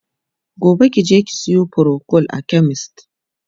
gobe kije ki Sayo procold a chemist!